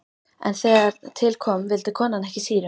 En þegar til kom vildi konan ekki sýru.